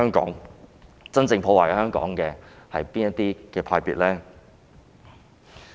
究竟真正破壞香港的是哪些派別呢？